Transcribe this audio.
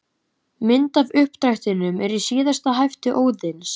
Mynd af uppdrættinum er í síðasta hefti Óðins.